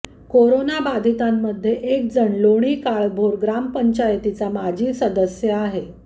कोरोनाबाधितांमध्ये एक जण लोणी काळभोर ग्रामपंचायतीचा माजी सदस्य आहे